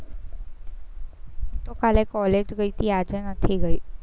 તો કાલે college ગઈ તી, આજે નથી ગઈ